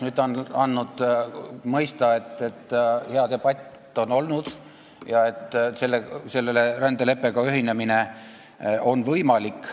Nüüd on ta andnud mõista, et on olnud hea debatt ja rändeleppega ühinemine on võimalik.